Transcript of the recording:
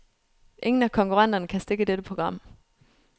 Ingen af konkurrenterne kan stikke dette program.